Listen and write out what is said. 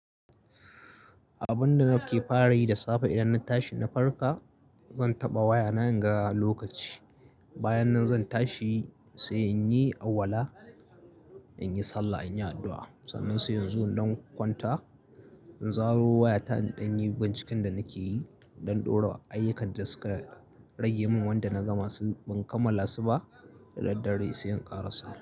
Abun da nake fara yi da safe idan na tashi na farka, zan taɓa wayana inga lokaci. Bayan nan zan tashi sai in yi alwala, in yi sallah, in yi addu'a. Sannan se inzo in ɗan kwanta in zaro wayata in ɗanyi binciken da nake yi in ɗan ɗora ayyukan da suka rage min wanda na gama su ban kammala su ba daddare se in ƙarasa.